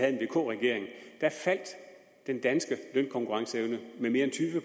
en vk regering faldt den danske lønkonkurrenceevne med mere end tyve